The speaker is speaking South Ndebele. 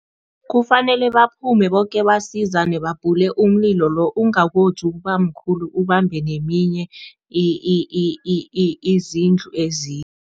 Kufanele baphume boke basizane, babhule umlilo lo ungakoji ukubamkhulu ubambe neminye izindlu